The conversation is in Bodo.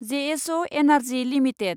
JSO energy limited